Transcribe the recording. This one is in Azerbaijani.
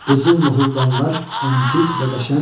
Qızıl noğuldanlar əntiq və qəşəng.